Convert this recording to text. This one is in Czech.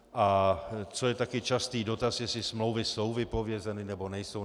A co je také častý dotaz, jestli smlouvy jsou vypovězeny, nebo nejsou.